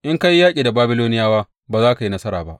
In ka yi yaƙi da Babiloniyawa, ba za ka yi nasara ba.’